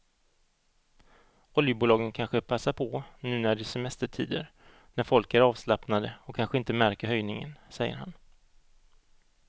Oljebolagen kanske passar på nu när det är semestertider när folk är avslappnade och kanske inte märker höjningen, säger han.